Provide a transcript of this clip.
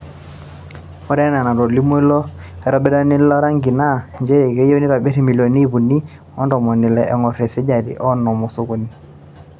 Ore enaa enatolimuo ilo aitobirani lo rangi naa nchere keyieu neitobir milioni ip uni o ntomoni ile eingor esajati e onom o sokoni.